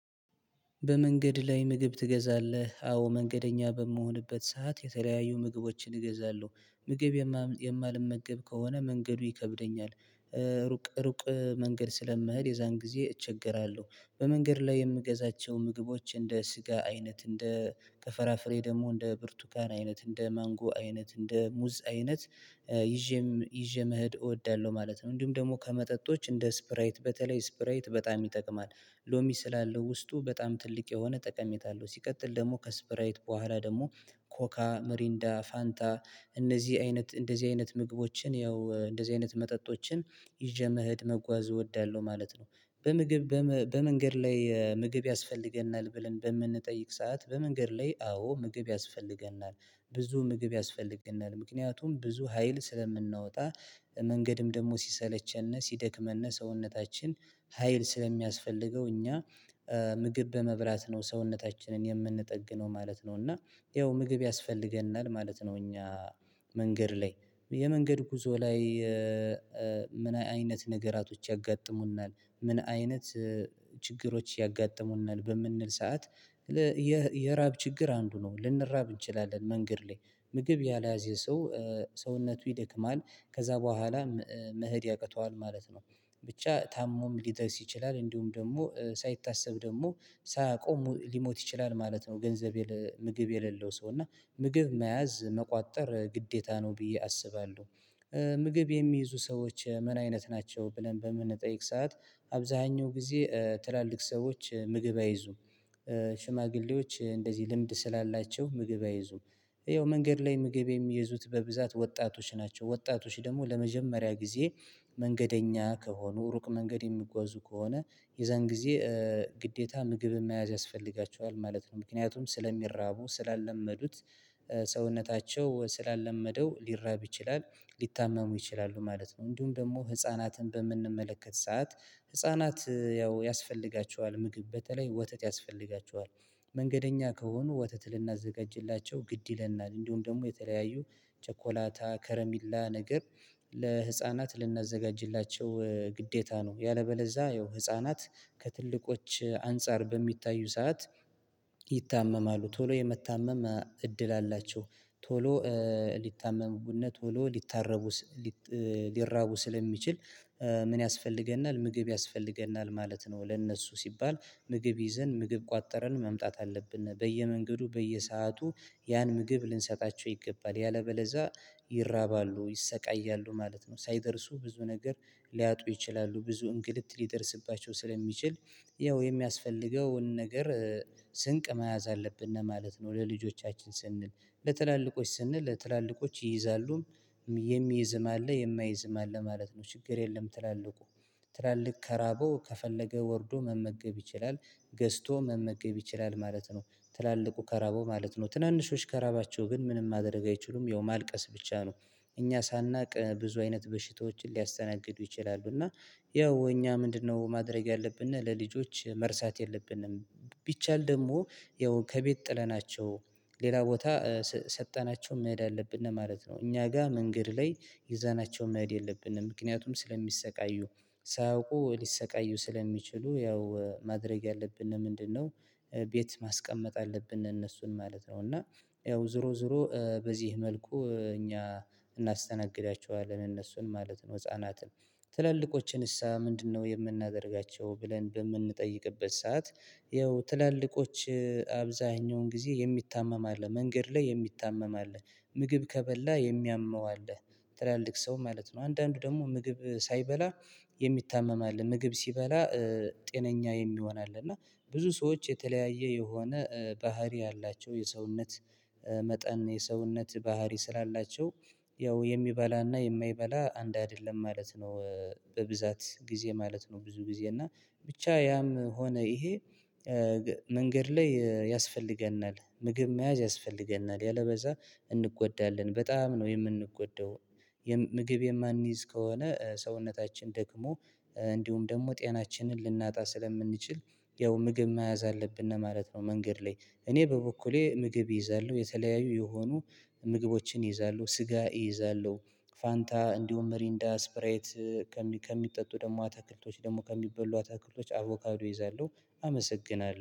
በመንገድ ላይ ምግብ ትገዛለህ? አዎ መንገደኛ በምሆንበት ሰዓት የተለያዩ ምግቦችን እገዛለሁ ምግብ የማልመገብ ከሆነ መንገዱ ይከብደኛል ሩቅ ሩቅ መንገድ ስለምሄድ የዛን ጊዜ እቸገራለሁ። በመንገድ ላይ የምገዛቸው ምግቦች እንደ ስጋ አይነት እንደ ከፈራፍሬ ደግሞ እንደ ብርቱካን አይነት እንደ ማንጎ አይነት እንደ ሙዝ አይነት ይዤም ይዤ መሄድ እወዳለሁ ማለት ነው። እንዲሁም ደግሞ ከመጠጦች እንደ ስፕራይት በተለይ ስፕራይት በጣም ይጠቅማል። ሎሚ ስላለው ውስጡ በጣም ትልቅ የሆነ ጠቀሜታ አለው። ሲቀጥል ደግሞ ከስፕራይት በኋላ ደግሞ ኮካ ምሪንዳ ፋንታ እነዚህ አይነት እንደዚህ አይነት ምግቦችን ያው እንደዚህ አይነት መጠጦችን ይዤ መኸድ መጓዝ እወዳለሁ ማለት ነው። በምግብ በመንገድ ላይ ምግብ ያስፈልገናል ብለን በምንጠይቅ ሰዓት በመንገድ ላይ አዎ ምግብ ያስፈልገናል። ብዙ ምግብ ያስፈልገናል ምክንያቱም ብዙ ሀይል ስለምናወጣ። መንገድም ደግሞ ሲሰለቸንና ሲደክመንና ሰውነታችን ሀይል ስለሚያስፈልገው እኛ ምግብ በመብላት ነው ሰውነታችንን የምንጠግነው ማለት ነው። እና ይኸው ምግብ ያስፈልገናል ማለት ነው። እኛ መንገድ ላይ የመንገድ ጉዞ ላይ ምን አይነት ነገራቶች ያጋጥሙናል ምን አይነት ችግሮች ያጋጥሙናል በምንል ሰዓት? የራብ ችግር አንዱ ነው ልንራብ እንችላለን መንገድ ላይ ምግብ ያልያዘ ሰው ሰውነቱ ይደክማል ከዛ በኋላ መሄድ ያቅተዋል ማለት ነው። ብቻ ታሞም ሊደርስ ይችላል እንዲሁም ደግሞ ሳይታሰብ ደግሞ ሳያቆሙ ሊሞት ይችላል ማለት ነው። ገንዘብ ምግብ የሌለው ሰው እና ምግብ መያዝ መቋጠር ግዴታ ነው ብዬ አስባለሁ። ምግብ የሚይዙ ሰዎች ምን አይነት ናቸው ብለን በምንጠይቅ ሰዓት? አብዛሀኛው ጊዜ ትላልቅ ሰዎች ምግብ አይዙም። ሽማግሌዎች እንደዚህ ልምድ ስላላቸው ምግብ አይዙም። ይኸው መንገድ ላይ ምግብ የሚይዙት በብዛት ወጣቶች ናቸው። ወጣቶች ደግሞ ለመጀመሪያ ጊዜ መንገደኛ ከሆኑ ሩቅ መንገድ የሚጓዙ ከሆነ የዛን ጊዜ ግዴታ ምግብ መያዝ ያስፈልጋችኋል ማለት ነው። ምክንያቱም ስለሚራቡ ስላለመዱት ሰውነታቸው ስላለመደው ሊራብ ይችላል ሊታመሙ ይችላሉ ማለት ነው። እንዲሁም ደግሞ ህፃናትን በምንመለከት ሰዓት ህፃናት ያው ያስፈልጋቸዋል ምግብ በተለይ ወተት ያስፈልጋቸዋል። መንገደኛ ከሆኑ ወተት ልናዘጋጅላቸው ግድ ይለናል እንዲሁም ደግሞ የተለያዩ ቸኮላታ ከረሚላ ነገር ለህፃናት ልናዘጋጅላቸው ግዴታ ነው። ያለበለዛ ያው ህፃናት ከትልቆች አንፃር በሚታዩ ሰዓት ይታመማሉ ቶሎ የመታመም እድል አላቸው። ቶሎ ሊታመሙና ወይ ሊታረቡ ሊራቡ ስለሚችል ምን ያስፈልገናል ምግብ ያስፈልገናል ማለት ነው። ለእነሱ ሲባል ምግብ ይዘን ምግብ ቋጥረን መምጣት አለብን በየመንገዱ በየሰአቱ ያን ምግብ ልንሰጣቸው ይገባል ያለበለዛ ይራባሉ ይሰቃያሉ ማለት ነው። ሳይደርሱ ብዙ ነገር ሊያጡ ይችላሉ ብዙ እንግልት ሊደርስባቸው ስለሚችል ይኸው የሚያስፈልገውን ነገር ስንቅ መያዝ አለብነ ነው ማለት ነው። ለልጆቻችን ስንል ለትላልቆች ስንል ለትላልቆች ይይዛሉም የሚይዝም አለ የማይዝም አለ ማለት ነው። ችግር የለም። ትላልቁ ትላልቅ ከራበው ከፈለገ ወርዶ መመገብ ይችላል። ገዝቶ መመገብ ይችላል ማለት ነው። ትላልቁ ከራበው ማለት ነው ትናንሾች ከረባቸው ግን ምንም ማድረግ አይችሉም ያው ማልቀስ ብቻ ነው። እኛ ሳናቅ ብዙ አይነት በሽታዎችን ሊያስተናግዱ ይችላሉ እና ያው እኛ ምንድነው? ማድረግ ያለብንነ ለልጆች መርሳት የለብነም። ቢቻል ደግሞ ያው ከቤት ጥለናቸው ሌላ ቦታ ሰጠናቸው መሄድ አለብነ ማለት ነው። እኛ ጋ መንገድ ላይ ይዘናቸው መሄድ የለብንም። ምክንያቱም ስለሚሰቃዩ ሳያውቁ ሊሰቃዩ ስለሚችሉ ያው ማድረግ ያለብነ ምንድነው? ቤት ማስቀመጥ አለብነ እነሱን ማለት ነው። እና ያው ዙሮ ዙሮ በዚህ መልኩ እኛ እናስተናግዳቸዋለን እነሱን ማለት ነው። ህፃናትን ትላልቆችን እሳ ምንድነው የምናደርጋቸው ብለን በምንጠይቅበት ሰዓት? ይኸው ትላልቆች አብዛሀኛውን ጊዜ የሚታመም አለ መንገድ ላይ የሚታመም አለ ምግብ ከበላ የሚያመው አለ። ትላልቅ ሰው ማለት ነው። አንዳንዱ ደግሞ ምግብ ሳይበላ የሚታመም አለ ምግብ ሲበላ ጤነኛ የሚሆን አለ። እና ብዙ ሰዎች የተለያየ የሆነ ባህሪ ያላቸው የሰውነት መጠን የሰውነት ባህሪ ስላላቸው ያው የሚበላና የማይበላ አንድ አይደለም ማለት ነው። በብዛት ጊዜ ማለት ነው ብዙ ጊዜ እና ብቻ ያም ሆነ ይሄ መንገድ ላይ ያስፈልገናል ምግብ መያዝ ያስፈልገናል ያለበዛ እንጎዳለን በጣም ነው የምንጎዳው። ምግብ የማንይዝ ከሆነ ሰውነታችን ደግሞ እንዲሁም ደግሞ ጤናችንን ልናጣ ስለምንችል ያው ምግብ መያዝ አለብነ ማለት ነው። መንገድ ላይ እኔ በበኩሌ ምግብ እይዛለሁ የተለያዩ የሆኑ ምግቦችን እይዛለው ስጋ እይዛለው። ፋንታ እንዲሁም ምሪንዳ ስፕራይት ከሚጠጡ ደግሞ አተክልቶች ደግሞ ከሚበሉ አተክልቶች አቮካዶ እይዛለሁ። አመሰግናለሁ